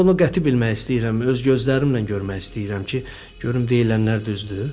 Mən bunu qəti bilmək istəyirəm, öz gözlərimlə görmək istəyirəm ki, görüm deyilənlər düzdür.